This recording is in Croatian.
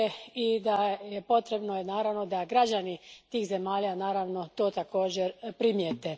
i potrebno je, naravno, da građani tih zemalja to također primijete.